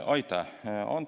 Aitäh!